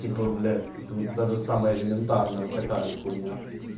типа блять то вот даже самое элементарное вот такая вот хуйня